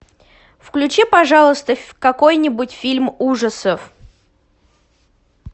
включи пожалуйста какой нибудь фильм ужасов